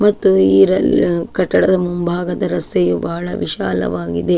ಮತ್ತು ಈ ಕಟ್ಟಡದ ಮುಂಭಾಗದ ರಸ್ತೆಯು ಬಹಳ ವಿಶಾಲವಾಗಿದೆ.